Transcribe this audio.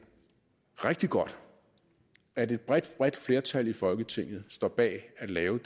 rigtig godt at et bredt bredt flertal i folketinget står bag at lave